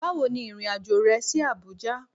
Bawo ni irin ajo re si Abuja